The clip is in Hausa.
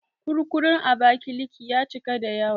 Kurkurun Abakiliki ya cika da yawa